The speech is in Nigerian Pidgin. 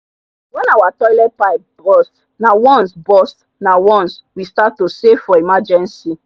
when our toilet pipe burst nah once burst nah once we start to save for emergency